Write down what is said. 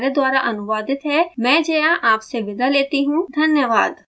I I T Bombay से मैं श्रुति आर्य आपसे विदा लेती you धन्यवाद